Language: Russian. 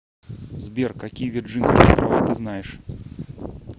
сбер какие вирджинские острова ты знаешь